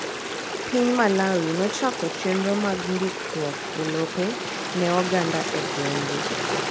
Piny Malawi nochako chenro mag ndikruok elope ne oganda egwenge.